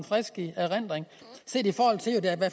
frisk erindring set i forhold